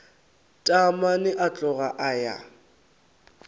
taamane a tloga a ya